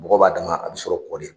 mɔgɔ b'a dama a bɛ sɔrɔ kɔ de